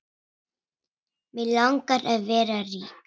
Mig langar að vera rík.